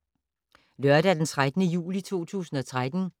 Lørdag d. 13. juli 2013